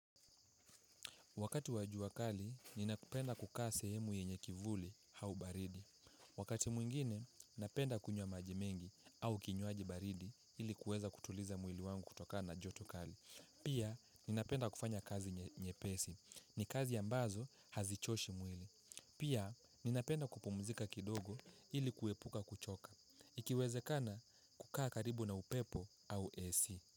Wakati wa jua kali, ninapenda kukaa sehemu yenye kivuli hau baridi. Wakati mwingine, napenda kunywa maji mengi au kinywaji baridi ili kueza kutuliza mwili wangu kutokana na joto kali. Pia, ninapenda kufanya kazi nyepesi. Ni kazi ambazo hazichoshi mwili. Pia, ninapenda kupumzika kidogo ili kuepuka kuchoka. Ikiwezekana kukaa karibu na upepo au AC.